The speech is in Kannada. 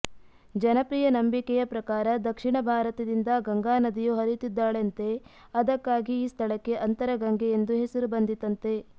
ಜನಪ್ರಿಯ ನಂಬಿಕೆಯ ಪ್ರಕಾರ ದಕ್ಷಿಣ ಭಾರತದಿಂದ ಗಂಗಾನದಿಯು ಹರಿಯುತ್ತಿದ್ದಾಳಂತೆ ಅದಕ್ಕಾಗಿ ಈ ಸ್ಥಳಕ್ಕೆ ಅಂತರಗಂಗೆ ಎಂದು ಹೆಸರು ಬಂದಿತಂತೆ